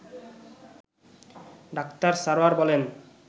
doctor Sarwar বলেন